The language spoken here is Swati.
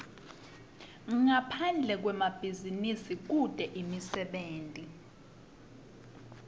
ngaphande kwemabhizinisi kute imisebenti